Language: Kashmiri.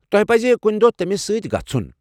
تۄہہ پزِ کُنہِ دۄہ تٔمِس سۭتہِ گژھُن۔